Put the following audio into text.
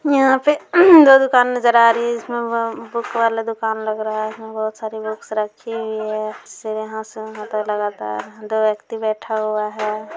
यहाँ पे दो दूकान नजर आ रही है जिसमें ब-बुक वाला दूकान लग रहा है | उसमें बहुत सारी बुक्स रखी हुई है यहाँ से वहाँ लगतार दो व्यक्ति बैठा हुआ है।